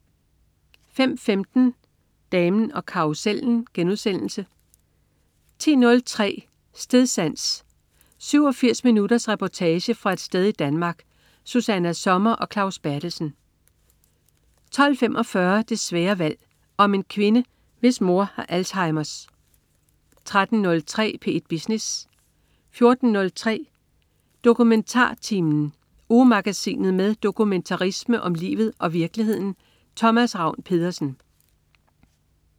05.15 Damen og karrusellen* 10.03 Stedsans. 87 minutters reportage fra et sted i Danmark. Susanna Sommer og Claus Berthelsen 12.45 Det svære valg. Om en kvinde, hvis mor har Alzheimers 13.03 P1 Business 14.03 DokumentarTimen. Ugemagasinet med dokumentarisme om livet og virkeligheden. Thomas Ravn-Pedersen